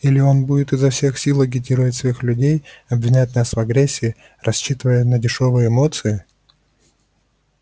или он будет изо всех сил агитировать своих людей обвинять нас в агрессии рассчитывая на дешёвые эмоции